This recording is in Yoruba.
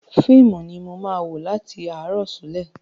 Fíìmù ni mo máa wo láti àárọ̀ ṣúlẹ̀.